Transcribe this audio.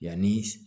Yanni